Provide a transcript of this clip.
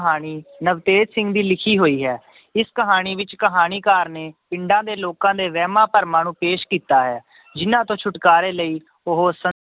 ਕਹਾਣੀ ਨਵਤੇਜ ਸਿੰਘ ਦੀ ਲਿਖੀ ਹੋਈ ਹੈ ਇਸ ਕਹਾਣੀ ਵਿੱਚ ਕਹਾਣੀਕਾਰ ਨੇ ਪਿੰਡਾਂ ਦੇ ਲੋਕਾਂ ਦੇ ਵਹਿਮਾਂ ਭਰਮਾਂ ਨੂੰ ਪੇਸ਼ ਕੀਤਾ ਹੈ ਜਿੰਨਾਂ ਤੋਂ ਛੁਟਕਾਰੇ ਲਈ ਉਹ ਸ~